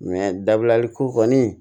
dabilali ko kɔni